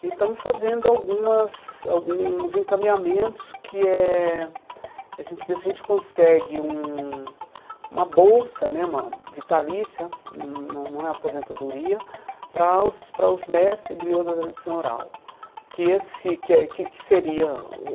E estamos fazendo algumas alguns encaminhamentos, que é a gente ver se a gente consegue um uma bolsa né, uma vitalícia, não não é aposentadoria, para os para os mestres griôlos da tradição oral. Que esse que é que que seria o